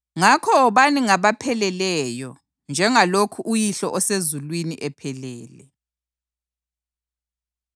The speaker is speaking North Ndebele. Ngakho wobani ngabapheleleyo njengalokhu uYihlo osezulwini ephelele.”